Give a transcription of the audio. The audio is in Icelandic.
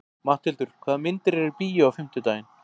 Matthildur, hvaða myndir eru í bíó á fimmtudaginn?